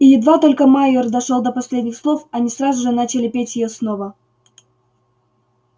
и едва только майер дошёл до последних слов они сразу же начали петь её снова